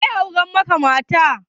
Waye ya aura maka matarka?